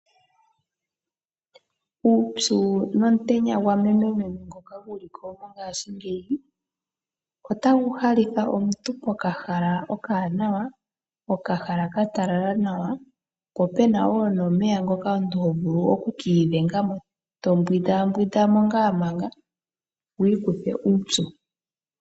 Uupyu nomutenya gwamemememe ngoka guliko mongashingeyi, otagu halitha omuntu pokahala okawanawa, okahala katalala nawa, po puna wo omeya ngoka omuntu to vulu okumbwinda mo, opo wiikuthe uupyu.